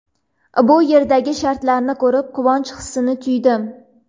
Bu yerdagi sharoitlarni ko‘rib, quvonch hissini tuydim.